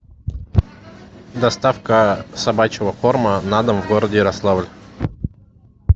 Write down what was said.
доставка собачьего корма на дом в городе ярославль